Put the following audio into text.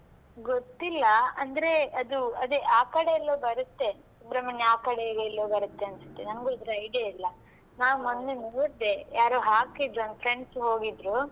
ಗೊತ್ತಿಲ್ಲಾ ಅಂದ್ರೆ ಅದು ಅದೇ ಆಕಡೆ ಎಲ್ಲೋ ಬರುತ್ತೆ ಸುಬ್ರಹ್ಮಣ್ಯ ಆಕಡೆ ಎಲ್ಲೋ ಬರುತ್ತೆ ಅನ್ನಿಸ್ತೇ ನಂಗೂ ಇದರ idea ಇಲ್ಲಾ ನಾನ್ ಮೊನ್ನೆ ನೋಡ್ದೆ ಯಾರು ಹಾಕಿದ್ರು ನಾನ್ friends ಹೋಗಿದ್ರು.